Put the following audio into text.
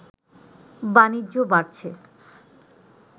বাণিজ্য বাড়ছে